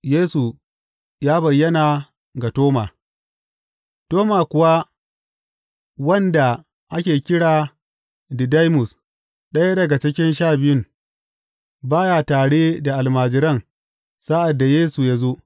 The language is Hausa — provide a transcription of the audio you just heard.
Yesu ya bayyana ga Toma Toma kuwa wanda ake kira Didaimus, ɗaya daga cikin Sha Biyun, ba ya tare da almajiran sa’ad da Yesu ya zo.